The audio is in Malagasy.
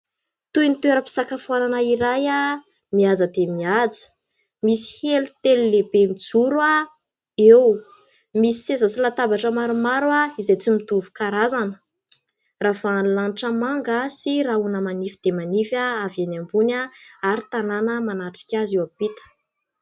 Toy ny toeram-pisakafoanana iray mihaja dia mihaja. Misy elo telo lehibe mijoro eo. Misy seza sy latabatra maromaro izay tsy mitovy karazana. Ravahan'ny lanitra manga sy rahona manify dia manify avy eny ambony, ary tanàna manatrika azy eo ampita.